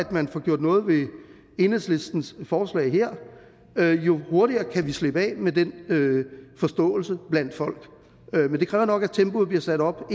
man får gjort noget ved enhedslistens forslag her jo hurtigere kan vi slippe af med den forståelse blandt folk men det kræver nok at tempoet bliver sat op